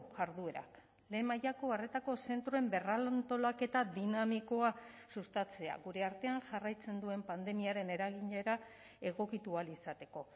jarduerak lehen mailako arretako zentroen berrantolaketa dinamikoa sustatzea gure artean jarraitzen duen pandemiaren eraginera egokitu ahal izateko